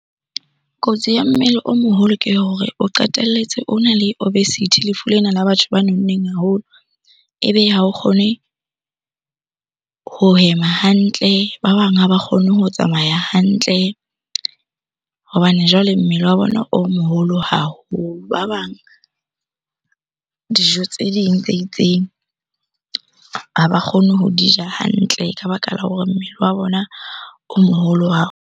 Kotsi ya mmele o moholo ke hore o qetelletse ona le obesity, lefu lena la batho ba nonneng haholo ebe ha o kgone ho hema hantle. Ba bang ha ba kgone ho tsamaya hantle hobane jwale mmele wa bona o moholo haholo. Ba bang dijo tse ding tse itseng ha ba kgone ho di ja hantle ka baka la hore mmele wa bona o moholo wa .